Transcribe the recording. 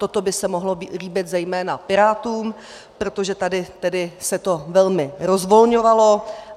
Toto by se mohlo líbit zejména Pirátům, protože tady se to velmi rozvolňovalo.